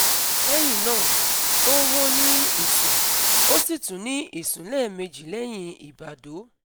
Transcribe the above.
Lẹ́yìn náà, ó ó ní ìsùn, ó sì tún ní ìsùn lẹ́ẹ̀meji lẹ́hìn ìbàdọ́